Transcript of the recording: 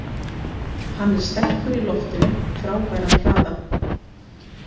Hann er sterkur í loftinu, frábæran hraða.